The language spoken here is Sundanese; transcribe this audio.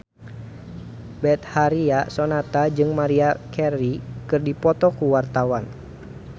Betharia Sonata jeung Maria Carey keur dipoto ku wartawan